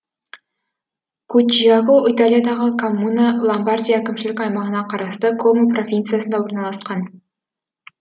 куччиаго италиядағы коммуна ломбардия әкімшілік аймағына қарасты комо провинциясында орналасқан